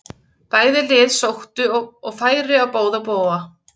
Bæði lið sóttu og færi á báða bóga.